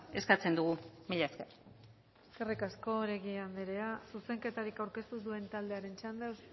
eskatzen dugu mila esker eskerrik asko oregi anderea zuzenketarik aurkeztu ez duen taldearen txanda